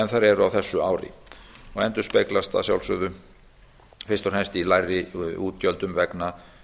þær eru á þessu ári og endurspeglast að sjálfsögðu fyrst og fremst í lægri útgjöldum vegna